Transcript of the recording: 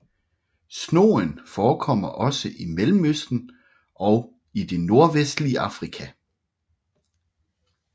Snogen forekommer også i Mellemøsten og i det nordvestlige Afrika